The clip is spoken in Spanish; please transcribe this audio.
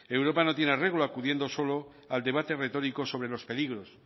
europa no tiene arreglo acudiendo solo al debate retórico sobre los peligros